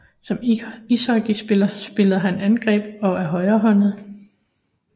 Som ishockeyspiller spiller han angreb og er højrehåndet